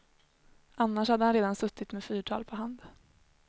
Annars hade han redan suttit med fyrtal på hand.